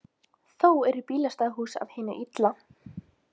Þó eru bílastæðahús af hinu illa.